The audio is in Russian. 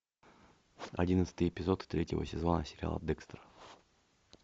одиннадцатый эпизод третьего сезона сериала декстер